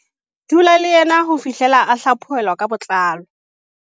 "Dula le yena ho fihlela a hlaphohelwa ka botlalo."